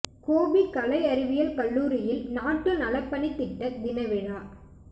கோபி கலை அறிவியல் கல்லூரியில் நாட்டு நலப்பணித் திட்ட தின விழா